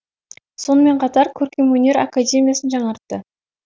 сонымен қатар көркемөнер академиясын жаңартты